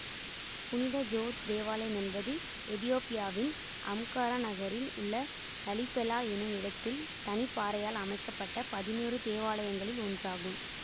புனித ஜோர்ஜ் தேவாலயம் என்பது எதியோப்பியாவின் அம்காரா நகரில் உள்ள லலிபெலா எனும் இடத்தில் தனிப்பாறையால் அமைக்க பட்ட பதினொரு தேவாலயங்களில் ஒன்று ஆகும்